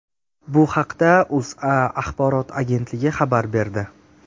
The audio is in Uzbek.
Bu haqda O‘zA axborot agentligi xabar berdi .